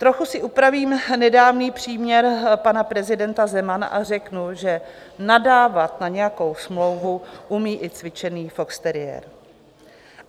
Trochu si upravím nedávný příměr pana prezidenta Zemana a řeknu, že nadávat na nějakou smlouvu umí i cvičený foxteriér.